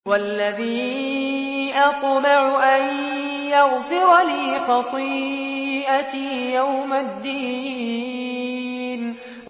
وَالَّذِي أَطْمَعُ أَن يَغْفِرَ لِي خَطِيئَتِي يَوْمَ الدِّينِ